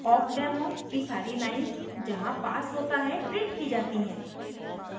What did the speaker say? awkdemo की सारी lines जहाँ pass होता है printed की जाती हैं